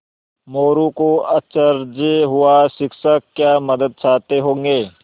मोरू को अचरज हुआ शिक्षक क्या मदद चाहते होंगे